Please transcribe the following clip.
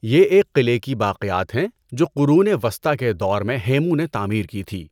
یہ ایک قلعے کی باقیات ہیں جو قرون وسطیٰ کے دور میں ہیمو نے تعمیر کی تھی۔